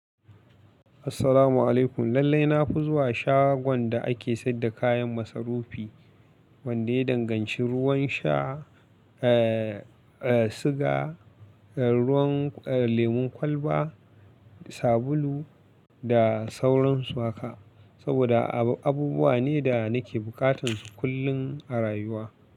Assalamu alaikum. Lallai na fi zuwa shagon da ake saida kayan masarufi, wanda ya danganci ruwan sha, eh, eh, siga, ruwan, eh, lemon kwalba, sabulu da sauransu haka. Saboda abubuwa ne da nake bukatun su kullum a rayuwa.